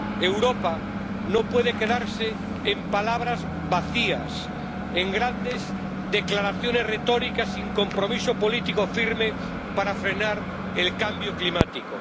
Europa no puede quedarse en palabras vacías, en grandes declaraciones retóricas sin compromiso político firme para frenar el cambio climático.